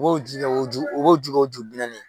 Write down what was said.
B'o ji kɛ o ju o b'o ju kɛ o ju bi naani ye.